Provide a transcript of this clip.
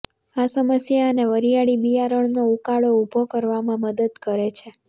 આ સમસ્યા અને વરિયાળી બિયારણનો ઉકાળો ઉભો કરવામાં મદદ કરે છે